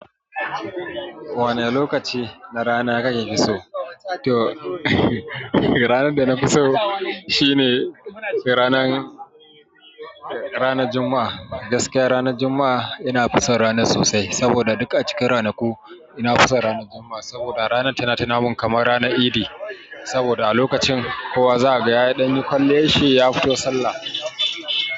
Wane lokaci na rana kake fi so? To ranar da na fi so shine ranan, ranar Juma'a. Gaskiya ranar Juma'a ina fi son ranar sosai saboda duk a cikin ranaku ina fi son ranar Juma'a saboda ranar tana tuna mun kaman ranar Idi. Saboda a lokacin kowa za ga ya ɗanyi kwaliyar shi ya fito Sallah.